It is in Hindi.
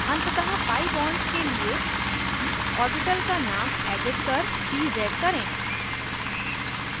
अंततः pi bond के लिए ऑर्बिटल का नाम एडिट कर pz करें